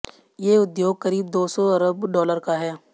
ये उद्योग क़रीब दो सौ अरब डॉलर का है